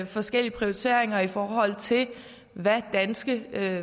forskellige prioriteringer i forhold til hvad danske